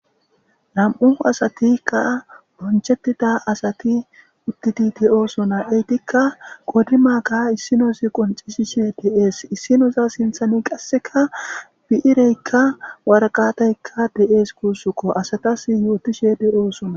nam7u asatikka bonchettida asati uttidi de7oosona eytikka godimaaka issinosi qoncisishe de7ees issinosa sinthani qasseka bi7ireykka warqataykka de7ees kuussukko asatas yootishe de7oosona